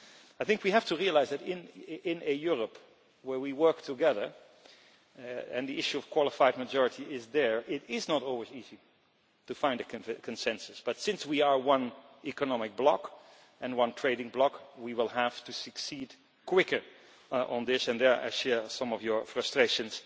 I think we have to realise that, in a Europe where we work together and the issue of the qualified majority is there, it is not always easy to find a consensus, but since we are one economic bloc and one trading bloc, we will have to succeed quicker on this, and there I share some of your frustrations